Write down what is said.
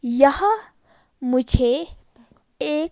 यहाँ मुझे एक--